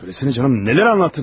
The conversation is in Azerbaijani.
De görüm canım, nələr danışdın?